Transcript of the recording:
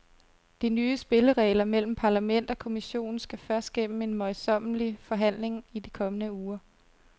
De nye spilleregler mellem parlament og kommission skal først gennem en møjsommelig forhandling i de kommende uger.